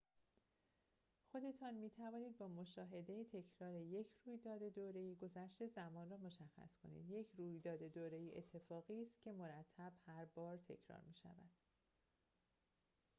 خودتان می‌توانید با مشاهده تکرار یک رویداد دوره‌ای گذشت زمان را مشخص کنید یک رویداد دوره‌ای اتفاقی است که مرتب هربار تکرار می‌شود